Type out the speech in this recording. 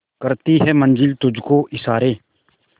करती है मंजिल तुझ को इशारे